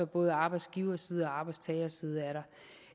både arbejdsgiverside og arbejdstagerside